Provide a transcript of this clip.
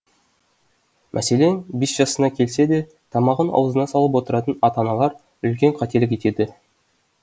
мәселен бес жасына келсе де тамағын аузына салып отыратын ата аналар үлкен қателік етеді